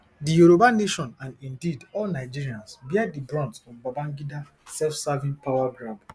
di yoruba nation and indeed all nigerians bear di brunt of babangida selfserving power grab